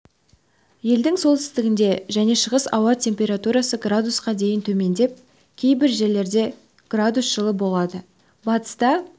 елдің солтүстігінде және шығысында ауа температурасы градусқа дейін төмендеп кейбір жерлерде градус жылы болады батыста